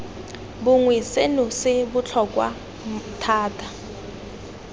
bongwe seno se botlhokwa thata